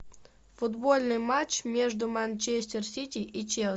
футбольный матч между манчестер сити и челси